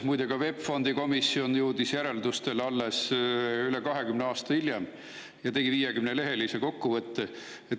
Muide, ka VEB Fondi komisjon jõudis järeldusteni alles rohkem kui 20 aastat hiljem ja tegi 50-lehelise kokkuvõtte.